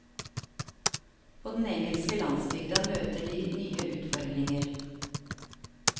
På den engelske landsbygda møter de nye utfordringer.